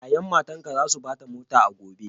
Ya'yan matanka za su ba ta mota a gobe.